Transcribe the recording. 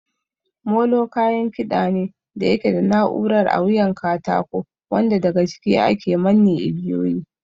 Molo kayan kiɗa ne da yake da na'urar a wuyan katako wanda daga ciki ake manne igiyoyin.